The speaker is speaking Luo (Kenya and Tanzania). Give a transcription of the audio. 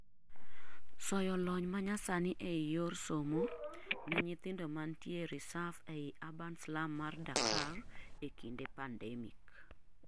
soyo lony manyasani ei yor somo ne nyithindo mantie resaf ei Urban slum mar Dhakar ekinde Pandemic